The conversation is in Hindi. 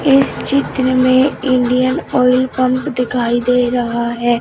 इस चित्र में इंडियन ऑयल पंप दिखाई दे रहा है।